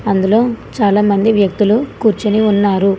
అందులో చాలామంది వ్యక్తులు కూర్చుని ఉన్నారు.